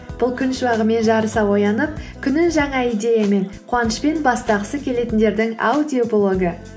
бұл күн шуағымен жарыса оянып күнін жаңа идеямен қуанышпен бастағысы келетіндердің аудиоблогы